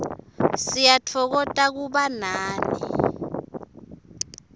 siyatfokota kuba nani